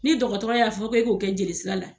Ni dɔgɔtɔrɔ y'a fɔ k'e k'o kɛ jelisira la